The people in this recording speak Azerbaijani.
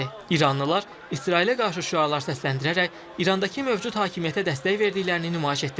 İranlılar İsrailə qarşı şüarlar səsləndirərək İrandakı mövcud hakimiyyətə dəstək verdiklərini nümayiş etdirdilər.